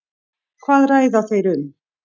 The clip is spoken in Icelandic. Hvað ræða þeir um?